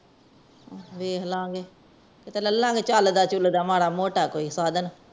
ਵੇਖ ਲੈ ਗਏ ਲੈ ਲੈ ਗਏ ਚਲਦਾ ਚਲਦਾ ਮਾਰਾ ਮੋਟਾ ਕੋਈ ਸਾਧਣ